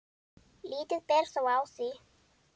Lítið ber þó á því.